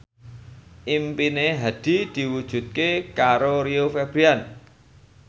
impine Hadi diwujudke karo Rio Febrian